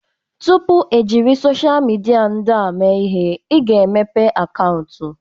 Tupu e jiri sochịa midia ndị a mee ihe, a ga-emepe akaụntụ.